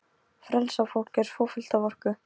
Frelsað fólk er svo fullt af orku.